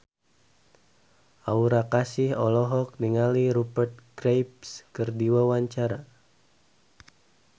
Aura Kasih olohok ningali Rupert Graves keur diwawancara